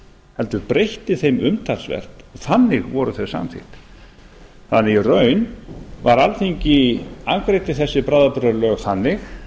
heldur breytti þeim umtalsvert og þannig voru þau samþykkt í raun afgreiddi alþingi þessi bráðabirgðalög þannig